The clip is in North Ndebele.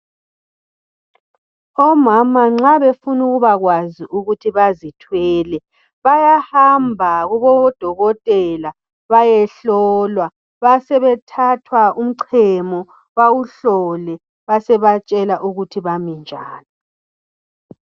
Omama nxa befuna ukuba kwazi ukuthi bazithwele bayahamba Kubo dokotela bayehlolwa basebe thathwa umchemo bawuhlole beseba tshela ukuthi bami njani.